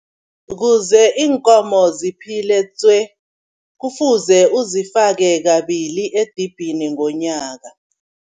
Kuze iinkomo ziphile tswe kufuze uzifake kabili edibhini ngonyaka.